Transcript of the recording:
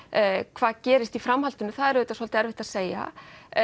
hvað gerist í framhaldinu það er auðvitað svolítið erfitt að segja